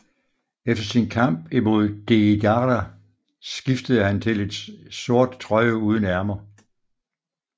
Efter sin kamp imod Deidara skiftede han til et sort trøje uden ærmer